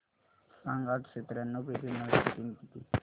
सांग आठशे त्र्याण्णव बेरीज नऊशे तीन किती होईल